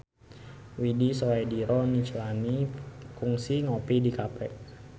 Widy Soediro Nichlany kungsi ngopi di cafe